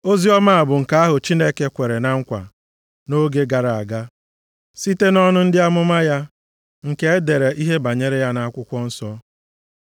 Oziọma a bụ nke ahụ Chineke kwere na nkwa nʼoge gara aga site nʼọnụ ndị amụma ya nke e dere ihe banyere ya nʼakwụkwọ nsọ.